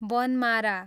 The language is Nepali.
बनमारा